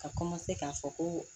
Ka k'a fɔ ko